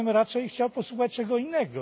Ja bym raczej chciał posłuchać czegoś innego.